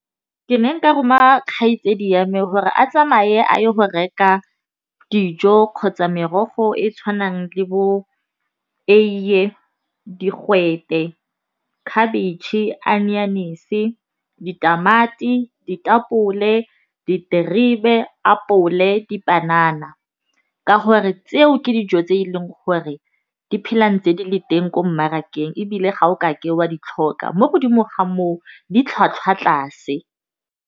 Ke ne nka roma kgaitsedi yame gore a tsamaye a ye go reka dijo kgotsa merogo e e tshwanang le bo eiye, digwete, khabetšhe, anyanese, ditamati, ditapole, diterebe, apole, dipanana. Ka gore tseo ke dijo tse e leng gore di phelang tse di le teng ko mmarakeng. Ebile ga o ka ke wa di tlhoka mo godimo ga moo di tlhwatlhwa tlase.